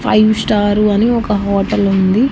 Five star అని ఒక hotel ఉంది.